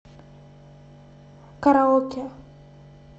караоке